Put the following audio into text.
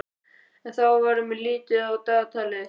En þá verður mér litið á dagatalið.